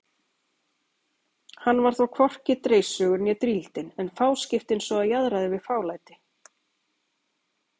Hann var þó hvorki dreissugur né drýldinn en fáskiptinn svo jaðraði við fálæti.